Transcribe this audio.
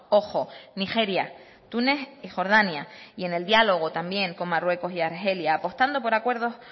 ojo nigeria túnez y jordania y en el diálogo también con marruecos y argelia apostando por acuerdos